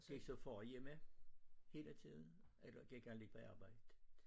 Gik så far hjemme hele tiden eller gik han lidt på arbejde?